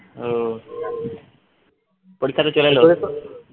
ও পরীক্ষা তো চলে এলো